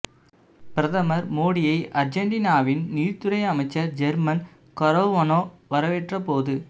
பிரதமர் மோடியை அர்ஜென்டீனாவின் நீதித்துறை அமைச்சர் ஜேர்மன் கரோவனோ வரவேற்ற போது